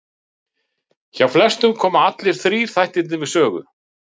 Hjá flestum koma allir þrír þættirnir við sögu.